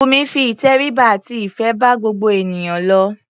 Bùnmi fi ìtẹríba àti ìfé bá gbogbo ènìyàn lò.